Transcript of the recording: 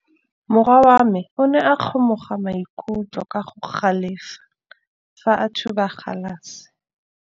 Morwa wa me o ne a kgomoga maikutlo ka go galefa fa a thuba galase.